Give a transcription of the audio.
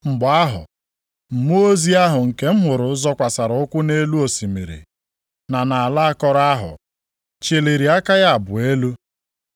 Mgbe ahụ, mmụọ ozi ahụ nke m hụrụ zọkwasịrị ụkwụ ya nʼelu osimiri, na nʼala akọrọ ahụ, chịlịri aka ya abụọ elu,